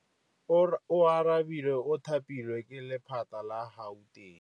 Oarabile o thapilwe ke lephata la Gauteng.